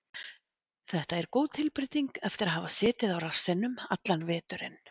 Þetta er góð tilbreyting eftir að hafa setið á rassinum allan veturinn.